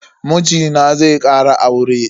Mijina zai kara aure.